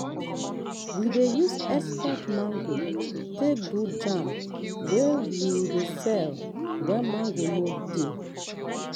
we dey use extra mango take do jam wey wey we dey sell when mango no dey.